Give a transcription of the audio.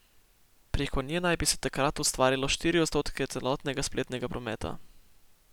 Preko nje naj bi se takrat ustvarilo štiri odstotke celotnega spletnega prometa.